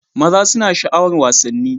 maza suna sha'awar wasanni